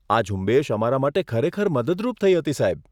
આ ઝુંબેશ અમારા માટે ખરેખર મદદરૂપ થઈ હતી, સાહેબ.